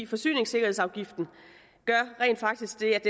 forsyningssikkerhedsafgiften gør rent faktisk det